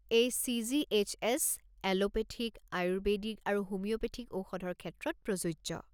এই CGHS. Allopathic, Ayurvedic আৰু homeopathic ঔষধৰ ক্ষেত্ৰত প্ৰযোজ্য।